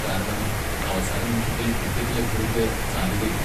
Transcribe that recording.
കാരണം, അവസാന നിമിഷത്തിൽ ടിക്കറ്റ് ലഭ്യതയ്ക്ക് സാധ്യതയില്ല.